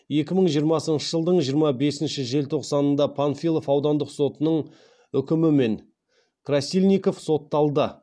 екі мың жиырмасыншы жылдың жиырма бесінші желтоқсанында панфилов аудандық сотының үкімімен красильников сотталды